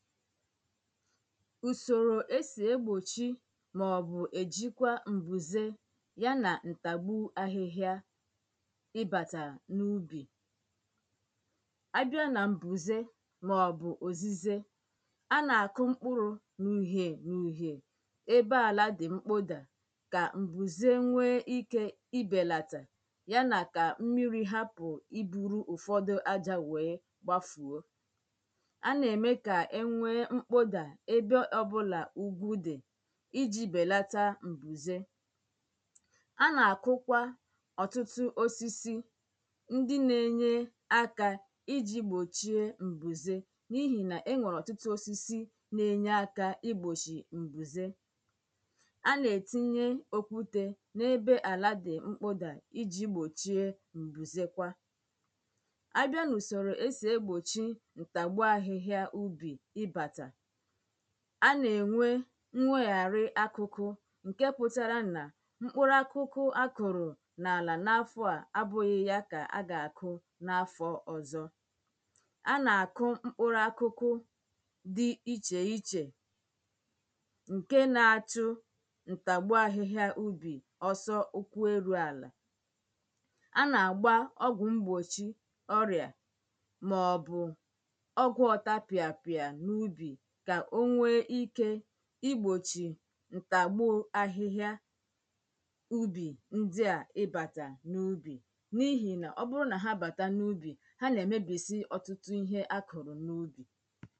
ùsòrò é sì égbòchí màò̀bụ̀ èjíkwá m̀bùzé yá nà ǹtàgbú áhị́hịá íbàtà n’úbì á bia nà m̀bùzé màọ̀bụ̀ òzízé á nà-àkụ́ ḿkpụ́rụ̄ n’ùhiè n’ùhiè ébé àlá dị̀ ḿkpụ́dà kà m̀bùzé nwéé íkē íbèlàtà yá nà kà ḿmírī hápụ̀ íbūrū ụ̀fọ́dụ́ ájā wéé gbáfùó á nà-èmé kà é nwéé ḿkpódà ébé ọ́bụ̄là úgwú dị̀ íjī bèlátá m̀bùzé á nà-àkụ́kwá ọ̀tú̩tụ́ ósísí ńdị́ nā-ēnyē ákā íjī gbòchíé m̀bùzé n’íhì nà é nwèrè ọ̀tụ́tụ́ ósísí ná ényé ákā ígbòchì ḿbùzé á nà-ètínyé ókwútē n’ébé àlà dị̀ ḿkpụ́dà íjī gbòchíé m̀bùzé kwá á bịá n’ùsòrò é sì égbòchí ǹtàgbú áhị́hịá úbì ị́bàtà á nà-ènwé ḿwéghàrị́ ákụ́kụ́ ṅ̀ké pụ́tárá nà ḿkpụ́rụ́ákụ́kụ́ á kụ̀rụ̀ n’àlà n’áfọ̄ à ábụ̄ghị̄ yā kà á gà-àkụ́ n’àlà n’áfọ̄ ò̩zṓ á nà-àkụ́ ḿkpụ́rụ́ákụ́kụ́ dị́ íchè íchè ṅ̀ké nā-áchụ́ ǹtàgbú áhị́hịá úbì ọ́sọ́ ụ́kwụ́ érū àlà á nà-àgbá ọ́gwụ̀ ḿgbòchí ọ́rịà màọ̀bụ̀ ọ́gwụ̄ ọ̀tá pịàpịà n’úbì kà ó nwéé íkē ígbòchì ǹtàgbù áhị́hịá úbì ńdị́ à íbàtà n’úbì n’íhì nà ọ́ bụ́rụ́ nà há bàtá n’úbì há nà-èmébìsí ọ́tụ́tụ́ íhé á kọ̀rọ̀ n’úbì